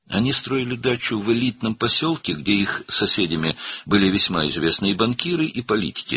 Onlar elit bir qəsəbədə bağ evi tikirdilər, burada qonşuları çox tanınmış bankirlər və siyasətçilər idi.